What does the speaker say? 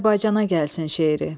Azərbaycana gəlsin şeiri.